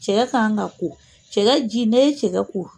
Cɛkɛ kan ka ko cɛkɛ ji n'e ye cɛkɛ ko